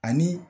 Ani